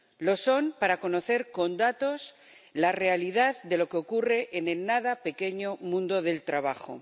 Lo son para conocer con datos la realidad de lo que ocurre en el nada pequeño mundo del trabajo